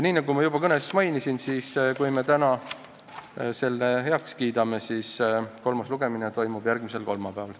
Nagu ma juba kõnes mainisin, kui me täna selle eelnõu heaks kiidame, siis kolmas lugemine toimub järgmisel kolmapäeval.